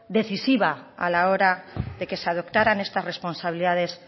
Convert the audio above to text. decisiva a la hora de que se adoptaran estas responsabilidades